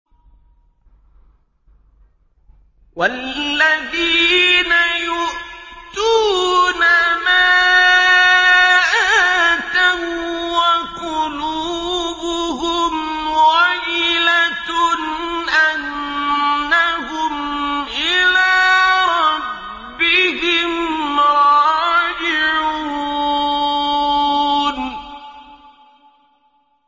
وَالَّذِينَ يُؤْتُونَ مَا آتَوا وَّقُلُوبُهُمْ وَجِلَةٌ أَنَّهُمْ إِلَىٰ رَبِّهِمْ رَاجِعُونَ